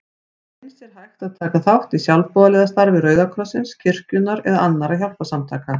Eins er hægt að taka þátt í sjálfboðaliðastarfi Rauða krossins, kirkjunnar eða annarra hjálparsamtaka.